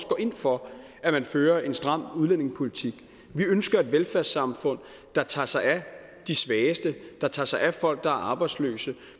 går ind for at man fører en stram udlændingepolitik vi ønsker et velfærdssamfund der tager sig af de svageste der tager sig af folk der er arbejdsløse